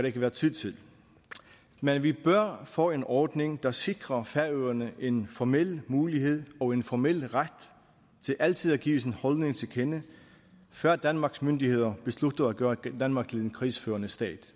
ikke været tid til men vi bør få en ordning der sikrer færøerne en formel mulighed og en formel ret til altid at give sin holdning til kende før danmarks myndigheder beslutter at gøre danmark til en krigsførende stat